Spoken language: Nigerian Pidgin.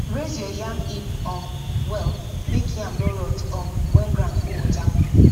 raise your yam heap um well make yam no rot um when ground full water